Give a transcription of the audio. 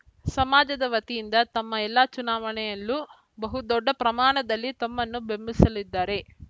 ಸಮಾಜದ ವತಿಯಿಂದ ತಮ್ಮ ಎಲ್ಲ ಚುನಾವಣೆಯಲ್ಲೂ ಬಹುದೊಡ್ಡ ಪ್ರಮಾಣದಲ್ಲಿ ತಮ್ಮನ್ನು ಬೆಂಬಲಿಸಿದ್ದೀರಿ